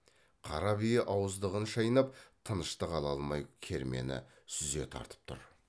қара бие ауыздығын шайнап тыныштық ала алмай кермені сүзе тартып тұр